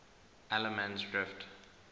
allemansdrift